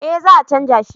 Eh za a canja shi